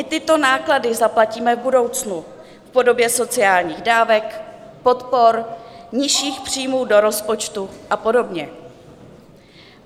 I tyto náklady zaplatíme v budoucnu v podobě sociálních dávek, podpor, nižších příjmů do rozpočtu a podobně.